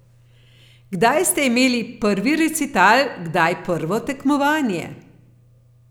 Kdaj ste imeli prvi recital, kdaj prvo tekmovanje?